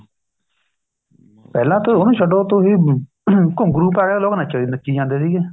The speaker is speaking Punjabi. ਪਹਿਲਾਂ ਤੁਸੀਂ ਉਹਨੂੰ ਛੱਡੋ ਤੁਸੀਂ ਘੁੰਗਰੂ ਪਾਏ ਹੋਏ ਲੋਕ ਨੱਚੀ ਜਾਂਦੇ ਸੀਗੇ